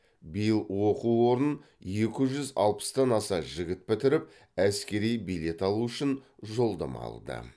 биыл оқу орнын екі жүз алпыстан аса жігіт бітіріп әскери билет алу үшін жолдама алды